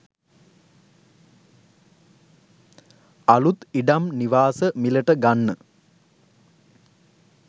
අලුත් ඉඩම් නිවාස මිලට ගන්න